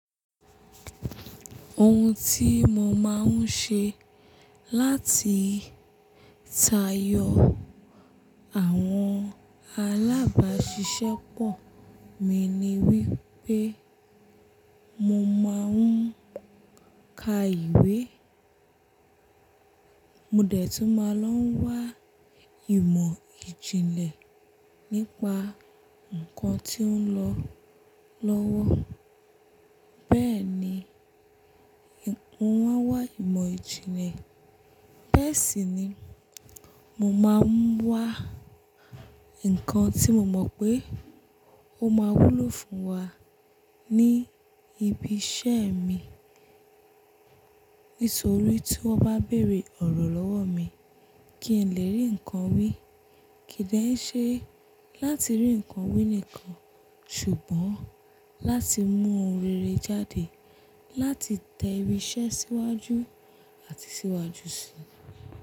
Ohun tí mo máa ń ṣe láti tayo àwọn alábáṣiṣẹ́pọ̀ mi ni wípé mo máa ń ka ìwé. Mò dẹ̀ tún máa ń lọ wá ìmọ̀ ìjìnlẹ̀ nípa nkan tí ó ń lọ lọ́wọ́. Bẹ́ẹ̀ni, mo maa n wá ìmọ̀ ìjìnlẹ̀. Bẹ́ẹ̀ sì ni, mo máa ń wá nkan tí mo mọ̀ pé ó máa wúlò fún wa ní ibi iṣẹ́ mi. Nítorí tí wọ́n bá bèèrè ọ̀rọ̀ lọ́wọ́ mi kí n lè rí nkan wí, kì í dẹ́ ṣe láti rí nkan wí nìkan, ṣùgbọ́n láti mú ohun rere jáde láti tẹ ìṣe síwájú àti síwájú si.